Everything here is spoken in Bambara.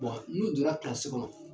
n'u donna kɔnɔ